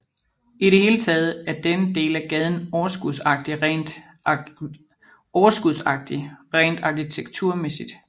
I det hele taget er denne del af gaden overskudsagtig rent arkitekturmæssigt